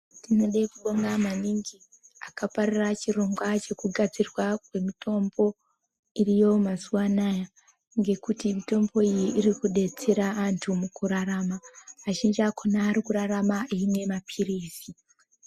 Tinode kubonga maningi akaparira chirongwa chekugadzirwa kwemitombo iriyo mazuwa anaya ngekuti mitombo iyi iri kubetsera antu mukurarama azhinji akona arikurarama eimwe mapirizi